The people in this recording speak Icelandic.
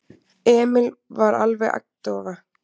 Emil var alveg agndofa.